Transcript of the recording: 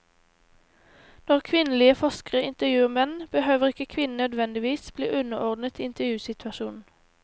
Når kvinnelige forskere intervjuer menn, behøver ikke kvinnen nødvendigvis bli underordnet i intervjusituasjonen.